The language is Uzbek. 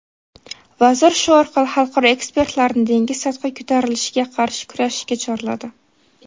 Vazir shu orqali xalqaro ekspertlarni dengiz sathi ko‘tarilishiga qarshi kurashishga chorladi.